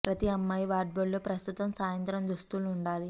ప్రతి అమ్మాయి వార్డ్రోబ్లో ప్రస్తుతం సాయంత్రం దుస్తులు ఉండాలి